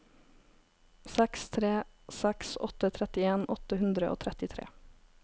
seks tre seks åtte trettien åtte hundre og trettitre